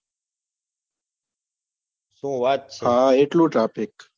શું વાત છે એટલું તો traffic